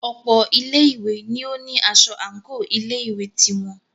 Ọ̀pọ̀ ilé ìwé ní o ní aṣọ àńkò ilé ìwé ti wọn.